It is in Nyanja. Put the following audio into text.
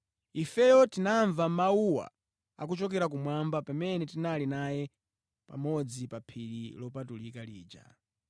Ifeyo tinamva mawuwa akuchokera kumwamba pamene tinali naye pamodzi pa phiri lopatulika lija.